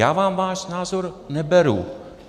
Já vám váš názor neberu.